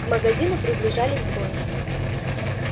к магазину приближались двое